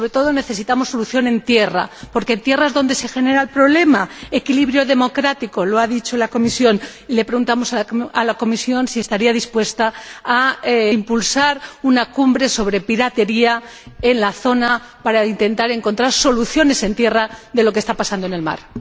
Y, sobre todo, necesitamos solución en tierra, porque en tierra es donde se genera el problema equilibrio democrático —lo ha dicho la Comisión—, y le preguntamos a la Comisión si estaría dispuesta a impulsar una cumbre sobre piratería en la zona, para intentar encontrar soluciones en tierra a lo que está pasando en el mar.